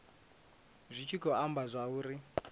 zwi tshi khou amba zwauri